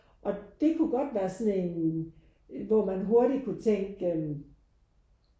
Og det kunne godt være sådan en hvor man hurtigt kunne tænke